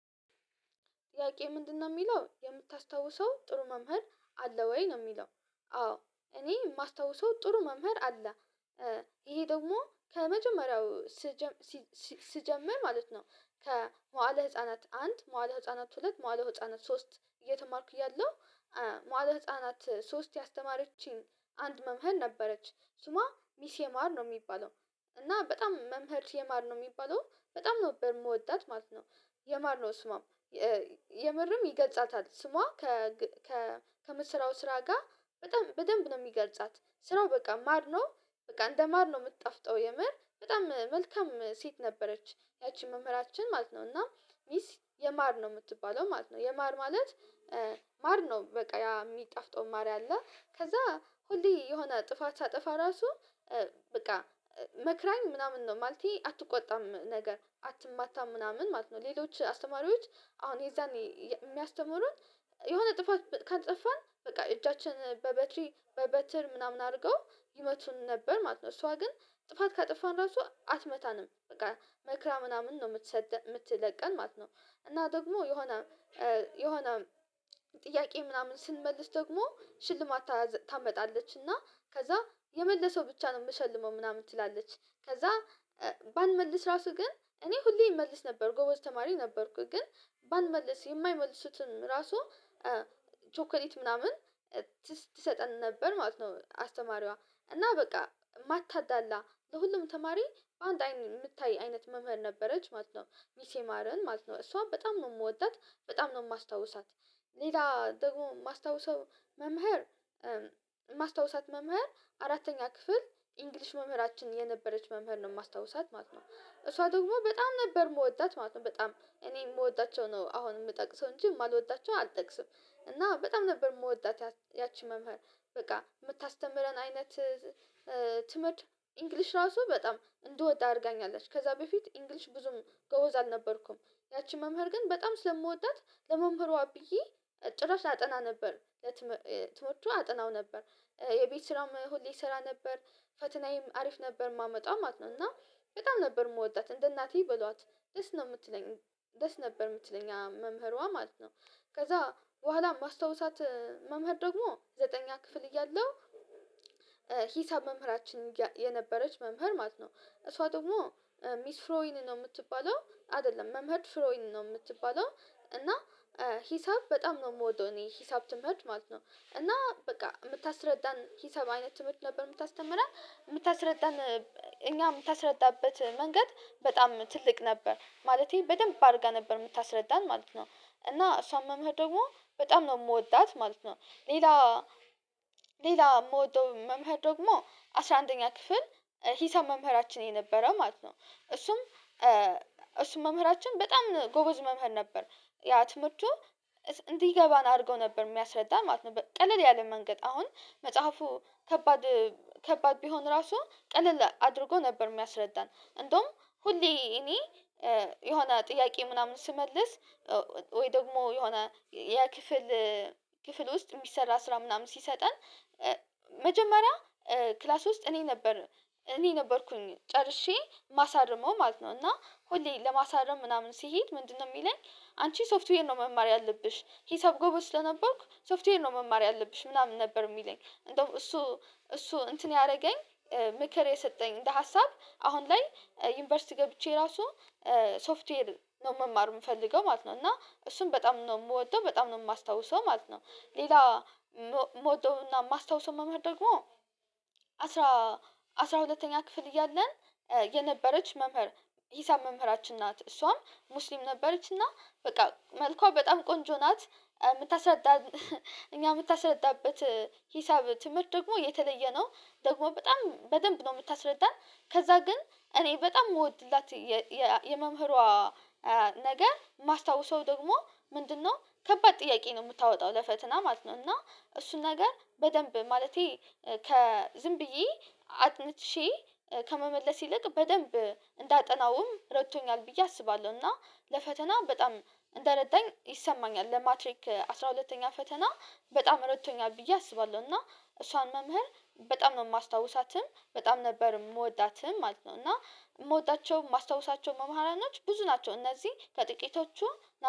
ጥያቄው ምንድንነው የሚለው የምታስታውሰው ጥሩ መምህር አለ ወይ ነው የሚለው? አዎ እኔ የማስታውሰው ጥሩ መምህር አለ። ይሄ ደግሞ ከመጀመሪያው ስጀምሲሲ ስጀምር ማለት ነው። ከመዋእለ ህፃናት አንድ መዋእለ ህፃናት ሁለት መዋእለ ህፃናት ሶስት እየተማርኩኝ እያለሁ። መዋእለ ህፃናት ሶስት ያስተማረችኝ አንድ መምህር ነበረች ስሟ ሚስ የማር ነው የሚባለው። እና በጣም መምህር የማር ነው የሚባለው በጣም ነበር የምወዳት ማለት ነው። የማርነው ስሟም የምርም ይገልጻታል ስሟ ከግ ከምትሰራው ስራ ጋር በጣም በደንብ ነው የሚገልጻት ስራዋ በቃ ማር ነው። በቃ እንደ ማር ነው የምትጣፍጠው የምር በጣም መልካም ሴት ነበረች ያቺ መምህራችን ማለት ነው። እና ሚስ የማር ነው የምትባለው ማለት ነው የማር ማለት። ማር ነው በቃ ያ የሚጣፍጠው ማር ያለ ከዛ ሁሌ የሆነ ጥፋት ሳጠፋ ራሱ በቃ መክራኝ ምናምን ነው ማለቴ አትቆጣም ነገር አትማታም ምናምን ማለት ነው። ሌሎች አስተማሪዎች አሁን የዛኔ የሚያስተምሩን የሆነ ጥፋት በ ካጠፋን በቃ እጃችን በበትሪ በበትር ምናምን አድርገው ይመቱን ነበር ማለት ነው። እሷ ግን ጥፋት ካጠፋን ራሱ አትመታንም በቃ መክራ ምናምን ነው የምትሰደን የምትለቀን ማለት ነው። እና ደግሞ የሆነ የሆነ ጥያቄ ምናምን ስንመልስ ደግሞ ሽልማት ታዘ ታመጣለች እና ከዛ የመለሰው ብቻ ነው የምሸልመው ምናምን ትላለች። ከዛ ባንመልስ ራሱ ግን እኔ ሁሌ እመልስ ነበር ጎበዝ ተማሪ ነበርኩኝ ግን ባንመልስ የማይመልሱትን ራሱ ቾኮሌት ምናምን ትሰጠን ነበር ማለት ነው። አስተማሪዋ እና በቃ ማታዳላ ለሁሉም ተማሪ አንድ አይን የምታይ አይነት መምህር ነበረች ማለት ነው ሚስ የማርን ማለት ነው እሷ በጣም ነው የምወዳት በጣም ነው የማስታውሳት። ሌላ ደግሞ የማስታውሰው መምህር የማስታወሳት መምህር አራተኛ ክፍል ኢንግሊዥ መምህራችን የነበረች መምህር ነው የማስታውሳት ማለት ነው እሷ ደግሞ በጣም ነበር የምወዳት ማለት ነው። በጣም እኔ የምወዳቸው ነው አሁን የምጠቅሰው እንጂ የማልወዳቸው አልጠቅስም እና በጣም ነበር የምወዳት ያቺ መምህር በቃ የምታስተምረን አይነት ትምህርት እንግሊዥ ራሱ በጣም እንድወድ አድርጋኛለች ከዛ በፊት እንግሊዥ ብዙም ጎበዝ አልነበርኩም። ያቺ መምህር ግን በጣም ስለምወዳት ለመምህሯ ብዬ ጭራሽ አጠና ነበር ለትም ትምህርቱን አጠናው ነበር የቤት ስራውም ሁሌ እስራ ነበር ፈተናዬም አሪፍ ነበር የማመጣው ማለት ነው። እና በጣም ነበር የምወዳት እንደ እናቴ በሏት ደስ ነው የምትለኝ ደስ ነበር የምትለኝ መምህሯ ማለት ነው። ከዛ በኋላ የማስታወሳት መምህር ደግሞ ዘጠነኛ ክፍል እያለሁ ሂሳብ መምህራችን የነበረች መምህር ማለት ነው እሷ ደግሞ ሚስ ፍሬወይን ነው የምትባለው አይደለም መምህርት ፍሬውይን ነው የምትባለው። እና ሂሳብ በጣም ነው የምወደው እኔ ሂሳብ ትምህርት ማለት ነው እና በቃ የምታስረዳን ሂሳብ አይነት ትምህርት ነበር የምታስተምረን የምታስረዳን እኛ የምታስረዳበት መንገድ በጣም ትልቅ ነበር ማለቴ በደንብ አድርጋ ነበር የምታስረዳን ማለት ነው። እና እሷም መምህር ደግሞ በጣም ነው የምወዳት ማለት ነው። ሌላ ሌላ የምወደው መምህር ደግሞ አስራ አንደኛ ክፍል ሂሳብ መምህራችን የነበረው ማለት ነው እሱም እሱም መምህራችን በጣም ጎበዝ መምህር ነበር። ያ ትምህርቱ እስ እንዲገባን አድርጎ ነበር የሚያስረዳን ማለት ነው ቀለል ያለ መንገድ አሁን መጽሐፉ ከባድ ከባድ ቢሆን ራሱ ቀለል አድርጎ ነበር የሚያስረዳን። እንደውም ሁሌ እኔ የሆነ ጥያቄ ምናምን ስመልስ ወይ ደግሞ የሆነ የ ክፍል ክፍል ውስጥ የሚሰራ ስራ ምናምን ሲሰጠን መጀመሪያ ክላስ ውስጥ እኔ ነበር እኔ ነበርኩኝ ጨርሼ የማሳርመው ማለት ነው እና ሁሌ ለማሳረም ምናምን ስሄድ ምንድንነው የሚለኝ? አንቺ ሶፍትዌር ነው መማር ያለብሽ ሂሳብ ጎበዝ ስለነበርኩ ሶፍትዌር ነው መማር ያለብሽ ምናምን ነበር የሚለኝ እንደውም እሱ እሱ እንትን ያደረገኝ ምክር የሰጠኝ እንደ ሀሳብ አሁን ላይ ዩኒቨርሲቲ ገብቼ ራሱ ሶፍትዌር ነው መማር የምፈልገው ማለት ነው እና እሱን በጣም ነው የምወደው በጣም ነው የማስታውሰው ማለት ነው። ሌላ የም የምወደውና የማስታወስ መምህር ደግሞ አስራ አስራ ሁለተኛ ክፍል እያለን የነበረች መምህር ሂሳብ መምህራችን ናት እሷም ሙስሊም ነበረች እና በቃ መልኳ በጣም ቆንጆ ናት። የምታስረዳ እኛ የምታስረዳበት ሂሳብ ትምህርት ደግሞ የተለየ ነው ደግሞ በጣም በደንብ ነው የምታስረዳን። ከዛ ግን እኔ በጣም የምወድላት የየመምህሯ ነገ የማስታወሰው ደግሞ ምንድንነው ከባድ ጥያቄ ነው የምታወጣው ለፈተና ማለት ነው። እና እሱን ነገር በደንብ ማለቴ ከ ዝም ብዬ አጥንቼ ከመመለስ ይልቅ በደንብ እንዳጠናውም ረድቶኛል ብዬ አስባለሁ እና ለፈተና በጣም እንደረዳኝ ይሰማኛል ለማትሪክ አስራ ሁለተኛ ፈተና በጣም ረድቶኛል ብዬ አስባለሁ። እና እሷን መምህር በጣም ነው የማስታውሳትም በጣም ነበር የምወዳትም ማለት ነው። እና የምወዳቸው የማስታውሳቸው መምህራኖች ብዙ ናቸው እነዚህ ከጥቂቶቹ